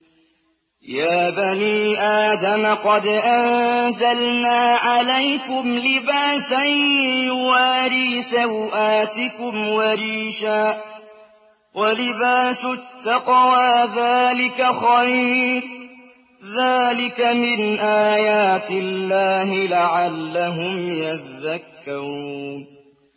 يَا بَنِي آدَمَ قَدْ أَنزَلْنَا عَلَيْكُمْ لِبَاسًا يُوَارِي سَوْآتِكُمْ وَرِيشًا ۖ وَلِبَاسُ التَّقْوَىٰ ذَٰلِكَ خَيْرٌ ۚ ذَٰلِكَ مِنْ آيَاتِ اللَّهِ لَعَلَّهُمْ يَذَّكَّرُونَ